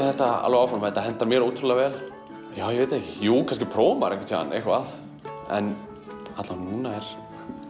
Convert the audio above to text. þetta áfram þetta hentar mér ótrúlega vel ég veit það ekki kannski prófar maður einhvern tímann eitthvað en allavega núna